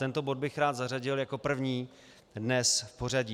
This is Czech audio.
Tento bod bych rád zařadil jako první dnes v pořadí.